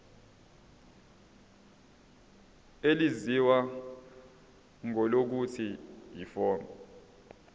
elaziwa ngelokuthi yiform